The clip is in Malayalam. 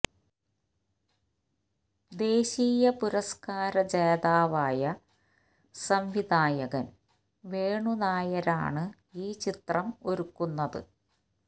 ദേശീയ പുരസ്കാര ജേതാവായ സംവിധായകന് വേണു നായരാണ് ഈ ചിത്രം ഒരുക്കുന്നത്